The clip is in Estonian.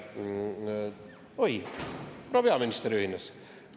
Oi, proua peaminister ühines!